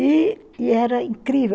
E e era incrível.